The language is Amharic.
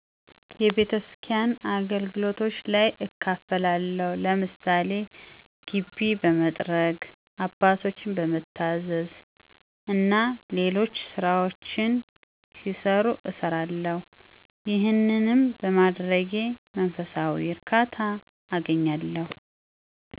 የቤተስኪያን አገልግሎቶች ላይ እካፈላለሁ። ለምሳሌ ግቢ በመጥረግ፣ አባቶችን በመታዘዝ እና ሌሎች ስራዎች ሲኖሩ እሰራለሁ። ይሄንንም በማድረጌ መንፈሳዊ እርካታ አገኛለሁ።